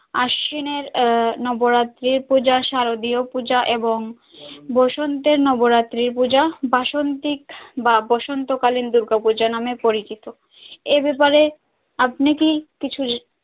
আশ্বিনের নবরাত্রির পূজা শারদীয় পূজা এবং বসন্তের নবরাত্রি পূজা বাসন্তিক বা বসন্ত কালীন দূর্গা পূজা নামে পরিচিত এব্যাপারে আপনি কি কিছু।